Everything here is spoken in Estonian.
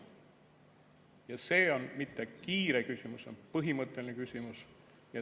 Ja see on mitte kiire küsimus, vaid põhimõtteline küsimus.